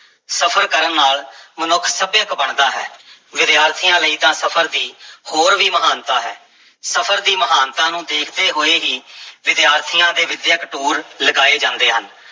ਸਫ਼ਰ ਕਰਨ ਨਾਲ ਮਨੁੱਖ ਸੱਭਿਅਕ ਬਣਦਾ ਹੈ, ਵਿਦਿਆਰਥੀਆਂ ਲਈ ਤਾਂ ਸਫ਼ਰ ਦੀ ਹੋਰ ਵੀ ਮਹਾਨਤਾ ਹੈ, ਸਫਰ ਦੀ ਮਹਾਨਤਾ ਨੂੰ ਦੇਖਦੇ ਹੋਏ ਹੀ ਵਿਦਿਆਰਥੀਆਂ ਦੇ ਵਿੱਦਿਅਕ ਟੂਰ ਲਗਾਏ ਜਾਂਦੇ ਹਨ।